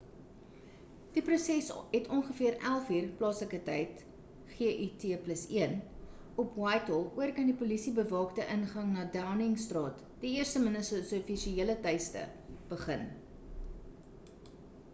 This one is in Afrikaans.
die protes het ongeveer 11:00 plaaslike tyd gut+1 op whitehall oorkant die polisie-bewaakte ingang na downing straat die eerste minister se offisiële tuiste begin